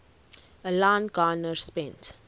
alan garner spent